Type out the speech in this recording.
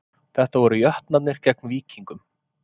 Þetta voru Jötnarnir gegn Víkingum